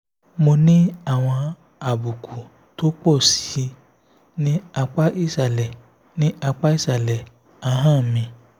mo ní àwọn àbùkù tó pọ̀ sí i ní apá ìsàlẹ̀ ní apá ìsàlẹ̀ ahọ́n mi